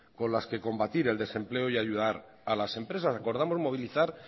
con las que combatir el desempleo y ayudar a las empresas acordamos movilizar